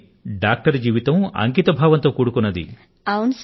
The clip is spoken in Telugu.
కానీ తల్లీ డాక్టర్ యొక్క జీవనం అది సమాజం కోసం సమర్పణ కావలసివుంటుంది